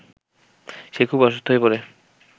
সে খুব অসুস্থ হয়ে পড়ে